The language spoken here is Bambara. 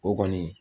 O kɔni